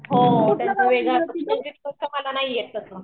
हां वेगळं नाही येत तसं